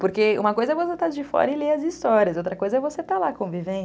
Porque uma coisa é você estar de fora e ler as histórias, outra coisa é você estar lá convivendo.